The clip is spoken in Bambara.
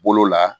Bolo la